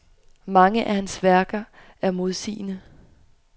Mange af hans værker er modsigende.